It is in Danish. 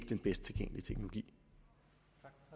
den bedste tilgængelige teknologi